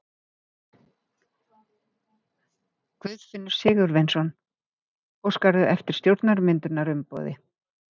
Guðfinnur Sigurvinsson: Óskarðu eftir stjórnarmyndunarumboði?